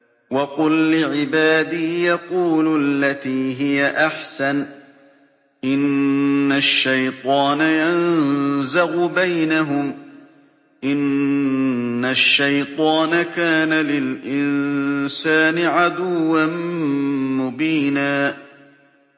وَقُل لِّعِبَادِي يَقُولُوا الَّتِي هِيَ أَحْسَنُ ۚ إِنَّ الشَّيْطَانَ يَنزَغُ بَيْنَهُمْ ۚ إِنَّ الشَّيْطَانَ كَانَ لِلْإِنسَانِ عَدُوًّا مُّبِينًا